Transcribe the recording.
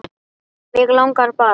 Mig langaði bara.